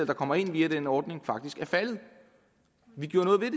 kommer ind via den ordning faktisk er faldet vi gjorde noget ved